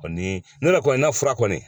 Ni ne yɛrɛ kɔni ka fura kɔni